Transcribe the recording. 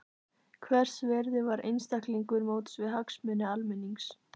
Hvers virði var einstaklingur móts við hagsmuni almennings?